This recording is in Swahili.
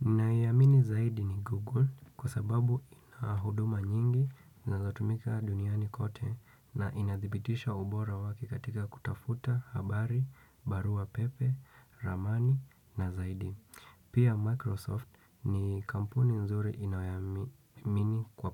Niamini zaidi ni Google kwa sababu inahuduma nyingi na za tumika duniani kote na inadhibitisha ubora wake katika kutafuta, habari, barua pepe, ramani na zaidi. Pia Microsoft ni kampuni nzuri inayoamini kwa